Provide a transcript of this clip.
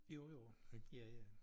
Jo jo ja ja